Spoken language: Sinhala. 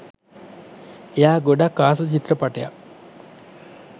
එයා ගොඩක් ආස චිත්‍රපටයක්